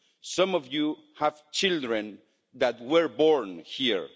Some of you have children that were born here.